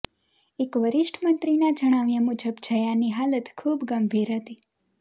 એક વરિષ્ઠ મંત્રીના જણાવ્યાં મુજબ જયાની હાલત ખુબ ગંભીર હતી